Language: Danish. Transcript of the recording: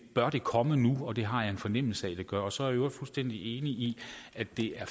bør det komme nu og det har jeg en fornemmelse af det gør så er jeg i øvrigt fuldstændig enig i at det er